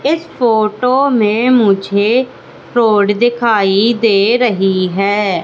इस फोटो में मुझे रोड दिखाई दे रही है।